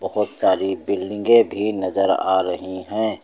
बहुत सारी बिल्डिंगे भी नजर आ रही है।